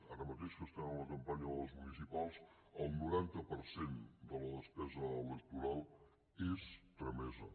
ara mateix que estem en la campanya de les municipals el noranta per cent de la despesa electoral és tramesa